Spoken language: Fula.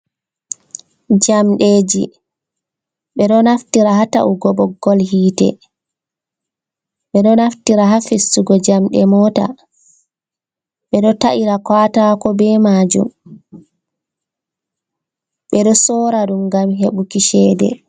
Jamɗeeji, ɓe ɗo naftira haa ta’ugo ɓoggol yiite, ɓe ɗo naftira haa fistugo jamɗe moota, ɓe ɗo ta’ira kaatako be maajum, ɓe ɗo soora ɗum ngam heɓuki ceede.